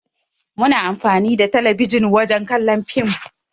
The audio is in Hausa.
Muna amfani da talabijin wajen kallon fim.